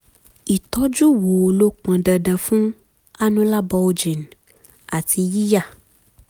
ìtọ́jú wo ló pọn dandan fún annular bulging àti yíya?